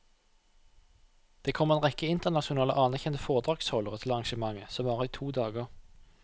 Det kommer en rekke internasjonale anerkjente foredragsholdere til arrangementet som varer i to dager.